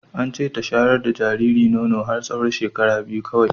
Ance ta shayar da jariri nono har tsawon shekaru biyu kawai